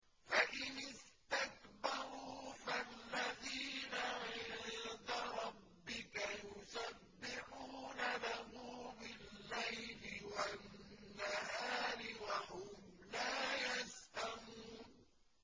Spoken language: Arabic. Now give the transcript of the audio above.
فَإِنِ اسْتَكْبَرُوا فَالَّذِينَ عِندَ رَبِّكَ يُسَبِّحُونَ لَهُ بِاللَّيْلِ وَالنَّهَارِ وَهُمْ لَا يَسْأَمُونَ ۩